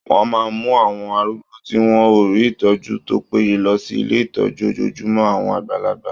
Wọ́n máa mú àwọn arúgbó tí wọ́n ò rí ìtọ́jú tó péye lọ sí ilé ìtọ́jú ojojúmọ́ àwọn àgbàlagbà.